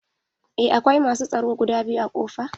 Eh akwai masu tsaro guda biyu a ƙofa?